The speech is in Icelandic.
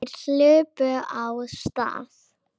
Þeir hlupu af stað.